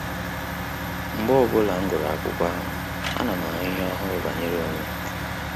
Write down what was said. Mgbe ọbụla m gụrụ akụkọ ahụ, a na m ahu ihe ọhụrụ banyere onwem